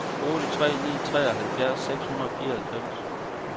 otte tre ni tre treoghalvtreds seks hundrede og fireoghalvfems